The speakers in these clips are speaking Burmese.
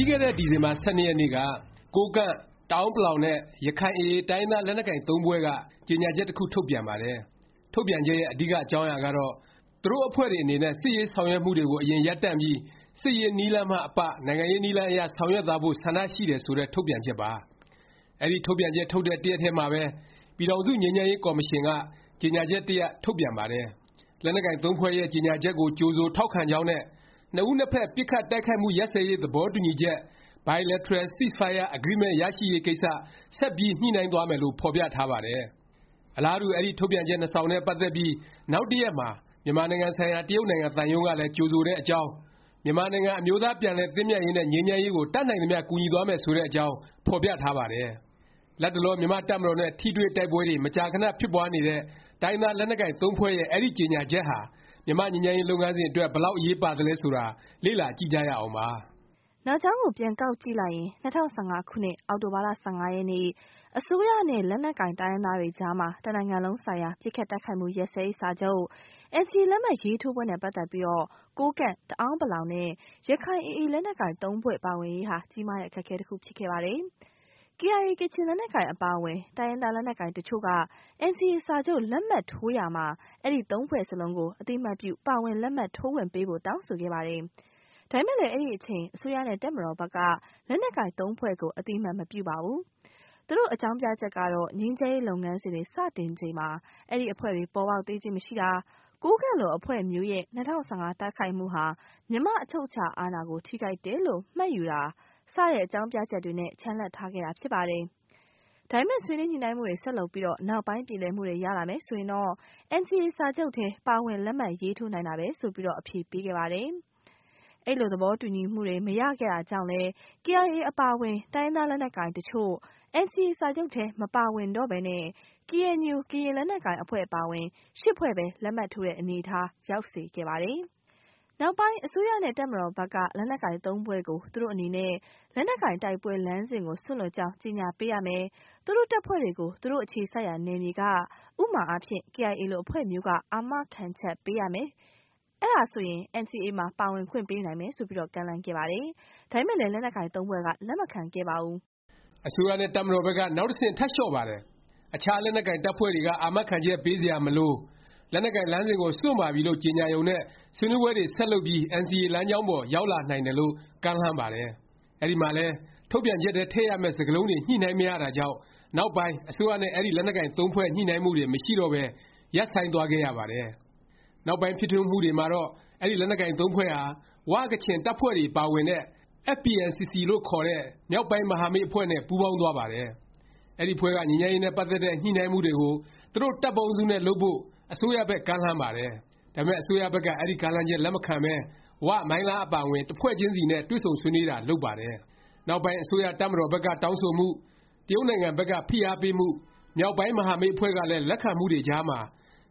ီးခဲ့တဲ့ ဒီဇင်ဘာ ၁၂ ရက်နေ့က ကိုးကန့်၊ တအာန်းပလောင်နဲ့ ရခိုင် AA တိုင်းရင်းသား လက်နက်ကိုင် (၃) ဖွဲ့က ကြေငြာချက် တစ်ခု ထုတ်ပြန်ပါတယ်။ ထုတ်ပြန်ချက်ရဲ့ အဓိက အကြောင်းအရာကတော့ သူတို့ အဖွဲ့တွေ အနေနဲ့ စစ်ရေးဆောင်ရွက်မှုတွေကို အရင် ရပ်တန့်ပြီး စစ်ရေး နည်းလမ်းမှ အပ နိုင်ငံရေးနည်းလမ်းအရ ဆောင်ရွက်သွားဖို့ ဆန္ဒရှိတယ် ဆိုတဲ့ ထုတ်ပြန်ချက်ပါ။ အဲဒီ ထုတ်ပြန်ချက် ထုတ်တဲ့ တစ်ရက်တည်းမှာပဲ ပြည်ထောင်စု ငြိမ်းချမ်းရေး ကော်မရှင်က ကြေငြာချက် တစ်ရပ် ထုတ်ပြန်ပါတယ်။ လက်နက်ကိုင် ၃ ဖွဲ့ရဲ့ ကြေငြာချက်ကို ကြိုဆို ထောက်ခံကြောင်းနဲ့ နှစ်ဦးနှစ်ဖက် ပစ်ခတ်တိုက်ခိုက်မှု ရပ်စဲရေး သဘောတူညီချက် Bilateral Ceasefire Agreement ရရှိရေးကိစ္စ ဆက်ပြီး ညှိနှိုင်းသွားမယ်လို့ ဖော်ပြထားပါတယ်။ အလားတူ အဲဒီ ထုတ်ပြန်ချက် နှစ်စောင်နဲ့ ပတ်သက်ပြီး နောက်တစ်ရက်မှာ မြန်မာနိုင်ငံဆိုင်ရာ တရုတ်နိုင်ငံ သံရုံးကလည်း ကြိုဆိုတဲ့အကြောင်း၊ မြန်မာနိုင်ငံ အမျိုးသားပြန်လည် သင့်မြတ်ရေးနဲ့ ငြိမ်းချမ်းရေးကို တတ်နိုင်သမျှ ကူညီသွားမယ် ဆိုတဲ့အကြောင်း ဖော်ပြထားပါတယ်။ လတ်တလော မြန်မာ့တပ်မတော်နဲ့ ထိတွေ့တိုက်ပွဲတွေ မကြာခဏ ဖြစ်ပွားနေတဲ့ တိုင်းရင်းသား လက်နက်ကိုင် (၃) ဖွဲ့ရဲ့ အဲဒီ ကြေငြာချက်ဟာ မြန်မာ့ငြိမ်းချမ်းရေး လုပ်ငန်းစဉ် အတွက် ဘယ်လောက် အရေးပါသလဲ ဆိုတာ လေ့လာကြည့်ကြရအောင်ပါ။ နောက်ကြောင်းကို ပြန်ကောက်ကြည့်လိုက်ရင် ၂၀၁၅ ခုနှစ် အောက်တိုဘာ ၁၅ ရက်နေ့ အစိုးရနဲ့ လက်နက်ကိုင် တိုင်းရင်းသားတွေအကြား တစ်နိုင်ငံလုံးဆိုင်ရာ ပစ်ခတ်တိုက်ခိုက်မှု ရပ်စဲရေး စာချုပ် NCA လက်မှတ်ရေးထိုးပွဲနဲ့ ပတ်သက်ပြီး ကိုးကန့်၊ တအာန်းပလောင်နဲ့ ရခိုင် AA လက်နက်ကိုင် ၃ ဖွဲ့ပါဝင်ရေးဟာ ကြီးမားတဲ့ အခက်အခဲ တစ်ခု ဖြစ်ခဲ့ပါတယ်။ KIA ကချင် လက်နက်ကိုင်အပါအဝင် တိုင်းရင်းသား လက်နက်ကိုင် တစ်ချို့က NCA စာချုပ် လက်မှတ်ထိုးရာမှာ အဲဒီ (၃) ဖွဲ့စလုံးကို အသိအမှတ်ပြု ပါဝင် လက်မှတ်ထိုးခွင့် ပေးဖို့ တောင်းဆိုခဲ့ပါတယ်။ ဒါပေမယ့် အဲဒီအချိန် အစိုးရနဲ့ တပ်မတော်ဘက်က လက်နက်ကိုင် ၃ ဖွဲ့ကို အသိအမှတ် မပြုပါဘူး။ သူတို့ အကြောင်းပြချက်ကတော့ ငြိမ်းချမ်းရေး လုပ်ငန်းစဉ်တွေ စတင်ချိန်မှာ အဲဒီ အဖွဲ့တွေ ပေါ်ပေါက်သေးခြင်း မရှိတာ၊ ကိုးကန့်လို အဖွဲ့မျိုးရဲ့ ၂၀၁၅ တိုက်ခိုက်မှုဟာ မြန်မာ့အချုပ်အခြာ အာဏာကို ထိပါးတယ်လို့ မှတ်ယူတာ၊ စတဲ့ အကြောင်းပြချက်တွေနဲ့ ချန်လှပ် ထားခဲ့တာ ဖြစ်ပါတယ်။ ဒါပေမယ့် ဆွေးနွေးညှိနှိုင်းမှုတွေ ဆက်လုပ်ပြီး နောက်ပိုင်း ပြေလည်မှုတွေ ရလာမယ် ဆိုရင် NCA စာချုပ်ထဲ ပါဝင်လက်မှတ်ရေးထိုးနိုင်တာပဲ ဆိုပြီး အဖြေပေးခဲ့ပါတယ်။ အဲလို သဘောတူညီမှုတွေ မရခဲ့တာကြောင့်လဲ KIA အပါအဝင် တိုင်းရင်းသား လက်နက်ကိုင်တစ်ချို့ NCA စာချုပ်ထဲ မပါဝင်တော့ပဲ KNU ကရင် လက်နက်ကိုင် အဖွဲ့အပါအဝင် (၈) ဖွဲ့ပဲ လက်မှတ်ထိုးတဲ့ အနေအထား ရောက်စေခဲ့ပါတယ်။ နောက်ပိုင်း အစိုးရနဲ့ တပ်မတော်ဘက်က လက်နက်ကိုင် ၃ ဖွဲ့ကို သူတို့ အနေနဲ့ လက်နက်ကိုင် တိုက်ပွဲ လမ်းစဉ်ကို စွန့်လွှတ်ကြောင်း ကြေငြာပေးရမယ်၊ သူတို့ တပ်ဖွဲ့တွေကို သူတို့ အခြေစိုက်ရာ နယ်မြေက ဥပမာအားဖြင့် KIA လို အဖွဲ့မျိုးက အာမခံချက်ပေးရမယ်၊ အဲဒါဆိုရင် NCA မှာ ပါဝင်ခွင့်ပေးနိုင်မယ်လို့ ကမ်းလှမ်းခဲ့ပါတယ်။ ဒါပေမယ့် လက်နက်ကိုင် ၃ ဖွဲ့က လက်မခံခဲ့ပါဘူး။ အစိုးရနဲ့ တပ်မတော်ဘက်က နောက်တစ်ဆင့် ထပ်လျော့ပါတယ်။ အခြား လက်နက်ကိုင် တပ်ဖွဲ့တွေက အာမခံချက် ပေးစရာ မလို၊ လက်နက်ကိုင် လမ်းစဉ်ကို စွန့်ပါပြီလို့ ကြေငြာရုံနဲ့ ဆွေးနွေးပွဲတွေ ဆက်လုပ်ပြီး NCA လမ်းကြောင်းပေါ် ရောက်လာနိုင်တယ်လို့ ကမ်းလှမ်းပါတယ်။ အဲဒီမှာလည်း ထုတ်ပြန်ချက်ထဲ ထည့်ရမယ့် စကားလုံးတွေ ညှိနှိုင်းမရတာကြောင့် နောက်ပိုင်း အစိုးရနဲ့ အဲဒီ လက်နက်ကိုင် သုံးဖွဲ့ ညှိနှိုင်းမှုတွေ မရှိတော့ပဲ ရပ်ဆိုင်းသွားခဲ့ရပါတယ်။ နောက်ပိုင်း ဖြစ်ထွန်းမှုတွေမှာတော့ အဲဒီ လက်နက်ကိုင် ၃ ဖွဲ့ဟာ ဝ၊ ကချင် တပ်ဖွဲ့တွေပါဝင်တဲ့ FPNCC လို့ခေါ်တဲ့ မြောက်ပိုင်းမဟာမိတ် အဖွဲ့နဲ့ ပူးပေါင်းသွားပါတယ်။ အဲဒီအဖွဲ့က ငြိမ်းချမ်းရေးနဲ့ ပတ်သက်တဲ့ ညှိနှိုင်းမှုတွေကို သူတို့ တပ်ပေါင်းစုနဲ့ လုပ်ဖို့ အစိုးရဘက် ကမ်းလှမ်းပါတယ်။ ဒါပေမယ့် အစိုးရဘက်က အဲဒီ ကမ်းလှမ်းချက် လက်မခံပဲ ဝ၊ မိုင်းလား အပါအဝင် တစ်ဖွဲ့ချင်းစီနဲ့ပဲ တွေ့ဆုံဆွေးနွေးတာ လုပ်ပါတယ်။ နောက်ပိုင်း အစိုးရ၊ တပ်မတော်ဘက်က တောင်းဆိုမှု၊ တရုတ်နိုင်ငံဘက်က ဖိအားပေးမှု၊ မြောက်ပိုင်း မဟာမိတ်အဖွဲ့ကလည်း လက်ခံမှုတွေကြားမှာ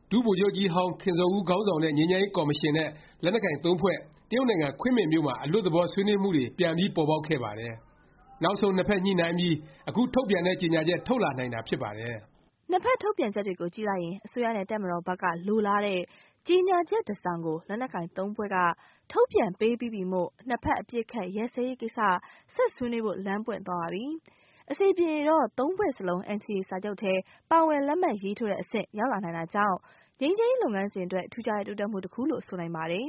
ဒုဗိုလ်ချုပ်ကြီးဟောင်းခင်ဇော်ဦး ခေါင်းဆောင်တဲ့ ငြိမ်းချမ်းရေး ကော်မရှင်နဲ့ လက်နက်ကိုင် သုံးဖွဲ့ တရုတ်နိုင်ငံ ခွင်းမင်မြို့မှာ အလွတ်သဘော ဆွေးနွေးမှုတွေ ပြန်ပြီး ပေါ်ပေါက်ခဲ့ပါတယ်။ နောက်ဆုံး နှစ်ဖက် ညှိနှိုင်းပြီး အခု ထုတ်ပြန်တဲ့ ကြေငြာချက် ထုတ်လာနိုင်တာ ဖြစ်ပါတယ်။ နှစ်ဖက် ထုတ်ပြန်ချက်တွေကြည့်လိုက်ရင် အစိုးရနဲ့ တပ်မတော်ဘက်က လိုလားတဲ့ ကြေငြာချက် တစ်စောင်ကို လက်နက်ကိုင် ၃ ဖွဲ့က ထုတ်ပြန်ပေးပြီးပြီမို့ နှစ်ဖက် အပစ်အခတ် ရပ်စဲရေးကိစ္စ ဆက်ဆွေးနွေးဖို့ လမ်းပွင့်သွားပါပြီ။ အဆင်ပြေရင် ၃ ဖွဲ့စလုံး NCA စာချုပ်ထဲ ပါဝင် လက်မှတ်ရေးထိုးတဲ့ အဆင့် ရောက်လာနိုင်တာမို့ ငြိမ်းချမ်းရေး လုပ်ငန်းစဉ်အတွက် ထူးခြားတဲ့ တိုးတက်မှု တစ်ခုလို့ ဆိုနိုင်ပါတယ်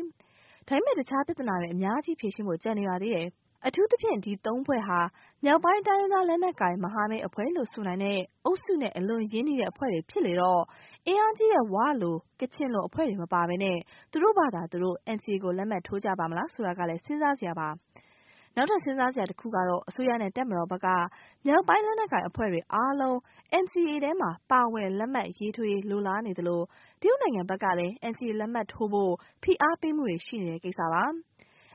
။ ဒါပေမယ့် အခြား ပြသနာတွေ အများကြီး ဖြေရှင်းဖို့ ကျန်နေပါသေးတယ်။ အထူးသဖြင့် ဒီ ၃ ဖွဲ့ဟာ မြောက်ပိုင်း တိုင်းရင်းသား လက်နက်ကိုင် မဟာမိတ် အဖွဲ့လို့ ဆိုနိုင်တဲ့ အုပ်စုနဲ့ အလွန်ရင်းနှီးတဲ့ အဖွဲ့တွေ ဖြစ်လေတော့ အင်အားကြီးတဲ့ ၀ လို ကချင်လို အဖွဲ့တွေ မပါပဲ သူတို့ဖာသာ သူတို့ NCA ကို လက်မှတ်ထိုးကြပါ့မလား ဆိုတာကလည်း စဉ်းစားစရာပါ။ နောက်ထပ် စဉ်းစားစရာတစ်ခုက အစိုးရနဲ့ တပ်မတော်ဘက်က မြောက်ပိုင်း လက်နက်ကိုင် အဖွဲ့တွေအားလုံး NCA ထဲ ပါဝင် လက်မှတ်ရေးထိုးရေး လိုလားနေသလို၊ တရုတ်နိုင်ငံဘက်ကလည်း NCA လက်မှတ်ထိုးဖို့ ဖိအားပေးမှုတွေ ရှိနေတဲ့ ကိစ္စပါ။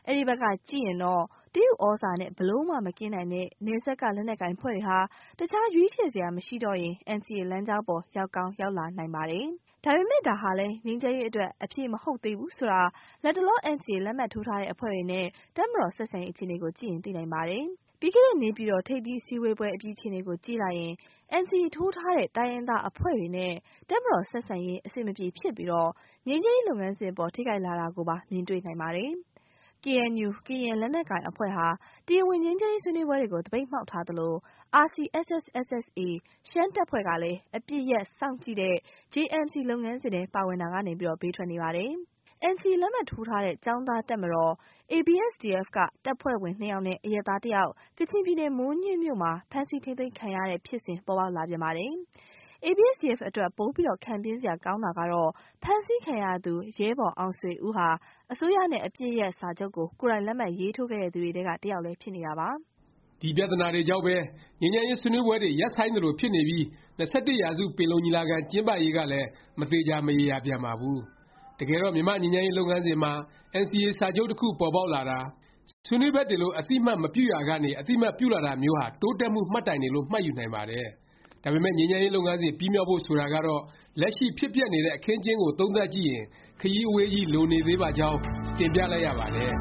အဲဒီဘက်ကကြည့်ရင်တော့ တရုတ်သြဇာနဲ့ ဘယ်လိုမှ မကင်းနိုင်တဲ့ နယ်စပ်က လက်နက်ကိုင်အဖွဲ့တွေဟာ အခြား ရွေးချယ်စရာ မရှိတော့ရင် NCA လမ်းကြောင်းပေါ် ရောက်ကောင်း ရောက်လာနိုင်ပါတယ်။ ဒါပေမယ့် ဒါဟာလည်း ငြိမ်းချမ်းရေး အတွက် အဖြေမဟုတ်သေးဘူး ဆိုတာ လတ်တလော NCA လက်မှတ်ထိုးထားတဲ့ အဖွဲ့တွေနဲ့ တပ်မတော် ဆက်ဆံရေး အခြေအနေကို ကြည့်ရင် သိနိုင်ပါတယ်။ ပြီးခဲ့တဲ့ နေပြည်တော် ထိပ်သီးအစည်းအဝေးပွဲ အပြီး အခြေအနေကို ကြည့်လိုက်ရင် NCA ထိုးထားတဲ့ တိုင်းရင်းသား အဖွဲ့တွေနဲ့ တပ်မတော် ဆက်ဆံရေး အဆင်မပြေ ဖြစ်ပြီး ငြိမ်းချမ်းရေး လုပ်ငန်းစဉ်အပေါ် ထိခိုက်လာတာကိုပါ မြင်တွေ့နိုင်ပါတယ်။ KNU ကရင် လက်နက်ကိုင်အဖွဲ့ဟာ တရားဝင် ငြိမ်းချမ်းရေး ဆွေးနွေးပွဲတွေကို သပိတ်မှောက်ထားသလို၊ RCSS/SSA ရှမ်းတပ်ဖွဲ့ကလည်း အပစ်ရပ် စောင့်ကြည့်တဲ့ JMC လုပ်ငန်းစဉ်ထဲ ပါဝင်တာကနေ ဘေးထွက်နေပါတယ်။ မြွေပူရာ ကင်းမှောင့် ဆိုသလိုပဲ NCA လက်မှတ်ထိုးထားတဲ့ ကျောင်းသားတပ်မတော် ABSDF က တပ်ဖွဲ့ဝင် နှစ်ယောက်နဲ့ အရပ်သား တစ်ယောက် ကချင်ပြည်နယ် မိုးညှင်းမြို့မှာ ဖမ်းဆီး ထိမ်းသိမ်းခံရတဲ့ ဖြစ်စဉ် ပေါ်ပေါက်လာပြန်ပါတယ်။ ABSDF အတွက် ပိုပြီး ခံပြင်းစရာ ကောင်းတာက ဖမ်းဆီးခံရသူ ရဲဘော်အောင်ဆွေဦးဟာ အစိုးရနဲ့ အပစ်ရပ်စာချုပ်ကို ကိုယ်တိုင်လက်မှတ်ရေးထိုးခဲ့သူတွေထဲက တစ်ယောက် ဖြစ်နေတာပါ။ ဒီ ပြသနာတွေကြောင့်ပဲ ငြိမ်းချမ်းရေး ဆွေးနွေးပွဲတွေ ရပ်ဆိုင်းသလို ဖြစ်နေပြီး ၂၁ ရာစု ပင်လုံညီလာခံ ကျင်းပရေးကလည်း မသေခြာ မရေရာပြန်ပါဘူး။ တကယ်တော့ မြန်မာ့ငြိမ်းချမ်းရေး လုပ်ငန်းစဉ်မှာ NCA စာချုပ်တစ်ခု ပေါ်ပေါက်လာတာ၊ ဆွေးနွေးဖက်တွေလို့ အသိအမှတ်မပြုရာကနေ အသိအမှတ်ပြုလာတာမျိုးဟာ တိုးတက်မှု မှတ်တိုင်တွေလို့ မှတ်ယူနိုင်ပါတယ်။ ဒါပေမယ့် ငြိမ်းချမ်းရေး လုပ်ငန်းစဉ် ပြီးမြောက်ဖို့ ဆိုတာကတော့ လက်ရှိ ဖြစ်ပျက်နေတဲ့ အခင်းအကျင်းကို သုံးသပ် ကြည့်ရင် ခရီးအဝေးကြီး လိုနေသေးပါကြောင်း တင်ပြလိုက်ရပါတယ်။